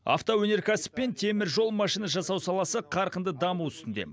автоөнеркәсіп пен теміржол машина жасау саласы қарқынды даму үстінде